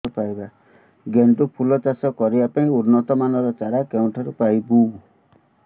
ଗେଣ୍ଡୁ ଫୁଲ ଚାଷ କରିବା ପାଇଁ ଉନ୍ନତ ମାନର ଚାରା କେଉଁଠାରୁ ପାଇବୁ